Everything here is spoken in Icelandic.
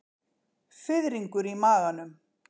Fiðringur í maganum.